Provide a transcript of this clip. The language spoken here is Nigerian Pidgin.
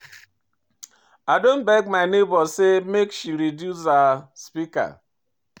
I don beg my nebor sey make she reduce her speaker.